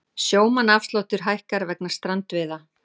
Sjómannaafsláttur hækkar vegna strandveiða